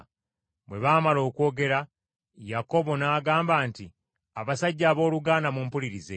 Bwe baamala okwogera, Yakobo n’agamba nti, “Abasajja abooluganda, mumpulirize.